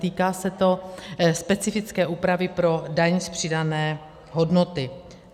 Týká se to specifické úpravy pro daň z přidané hodnoty.